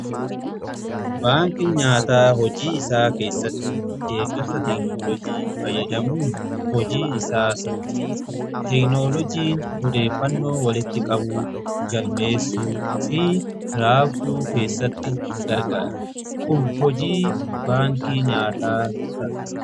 Baankii nyaataa hojii isaa keessatti deeggarsa teeknoloojii fayyadamuun hojii isaa saffisiisa. Teeknoloojiin odeeffannoo walitti qabuu, galmeessuu fi raabsuu keessatti ni gargaara. Kun immoo hojii baankii nyaataa salphisa.